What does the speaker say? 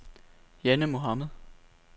Janne Mohamed